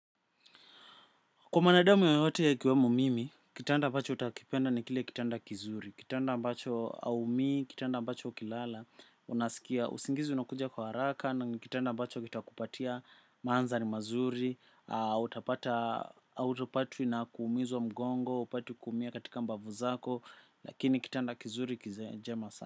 Kwa mwanadamu yoyote akiwemu mimi, kitanda ambacho utakipenda ni kile kitanda kizuri, kitanda ambacho aumi, kitanda bacho ukilala, unasikia, usingizi unakuja kwa haraka na kitanda ambacho kitakupatia maandhari mazuri, utapata autopatwi na kuumizwa mgongo, upati kuumia katika mbavu zako, lakini kitanda kizuri kizema sana.